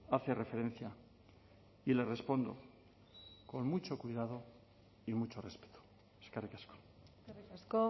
hace referencia y le respondo con mucho cuidado y mucho respeto eskerrik asko eskerrik asko